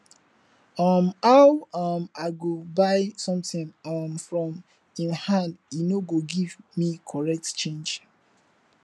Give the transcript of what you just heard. um how um i go buy something um from im hand he no go give me correct change